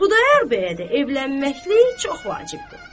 Xudayar bəyə də evlənməklik çox vacibdir.